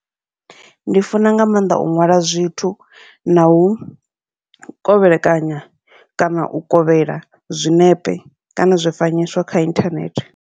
Ndi funa nga maanḓa u ṅwala zwithu nau kovhelekanya kana u kovhela zwiṋepe, kana zwifanyiso kha inthanethe.